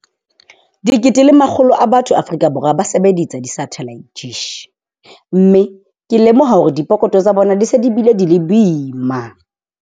Dikete le makgolo a batho Afrika Borwa ba sebedisa di-satellite dish, mme ke lemoha hore dipokotho tsa bona di se di bile di le boima.